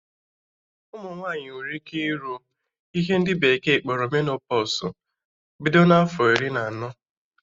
Ụmụ nwaanyị nwere ike ịrụ ihe ndị bekee kpọrọ menopọsụ bido na afọ iri anọ